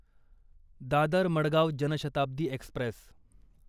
Dadar Madgaon Janshatabdi Express